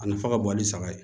A nafa ka bon ani saga ye